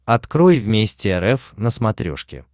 открой вместе рф на смотрешке